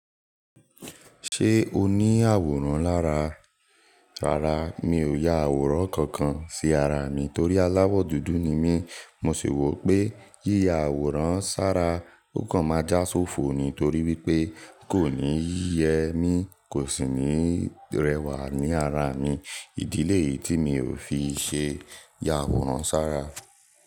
Ṣé o ní àwòrán lára? Rara Mi ò ya àwòrán kankan sí ara mi torí aláwọ̀ dúdú ni mí. Mo sì wọ̀ pé yíya àwòrán sára o kan máa já sófo ni torí wípé kò níí yẹ mí, kò sì ní rẹwà ní ara mi. Ìdílé yìí tí mi ò fi ṣe ya àwòrán sára.